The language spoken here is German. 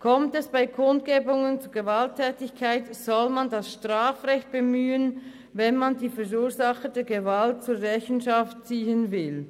Kommt es bei Kundgebungen zu Gewalttätigkeiten, soll man das Strafrecht bemühen, wenn man die Verursacher der Gewalt zur Rechenschaft ziehen will.